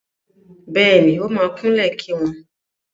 Bẹ́ẹ̀ni, ó máa kúnlẹ̀ kí wọn.